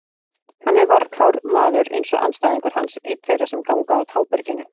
Hann er varkár maður eins og andstæðingur hans, einn þeirra sem ganga á táberginu.